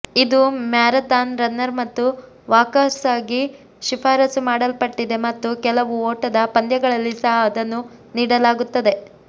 ಇದು marathon runner ಮತ್ತು ವಾಕರ್ಸ್ಗಾಗಿ ಶಿಫಾರಸು ಮಾಡಲ್ಪಟ್ಟಿದೆ ಮತ್ತು ಕೆಲವು ಓಟದ ಪಂದ್ಯಗಳಲ್ಲಿ ಸಹ ಅದನ್ನು ನೀಡಲಾಗುತ್ತದೆ